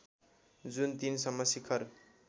जुन ३ सम्म शिखर